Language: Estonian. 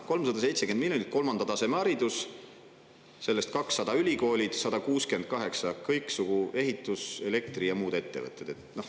370 miljonit kolmanda taseme haridusele, sellest 200 miljonit ülikoolidele ja 168 miljonit kõiksugu ehitus‑, elektri‑ ja muudele ettevõtetele.